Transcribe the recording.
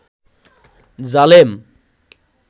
জালেম